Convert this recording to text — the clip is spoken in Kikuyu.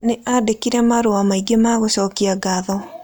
Nĩ aandĩkire marũa maingĩ ma gũcokia ngatho.